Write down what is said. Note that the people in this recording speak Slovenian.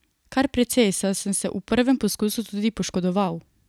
Kar precej, saj sem se v prvem poskusu tudi poškodoval.